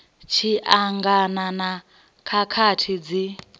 tshi angana na khakhathi dzi